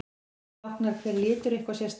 Táknar hver litur eitthvað sérstakt?